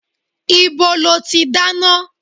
Ibo lo ti dáná?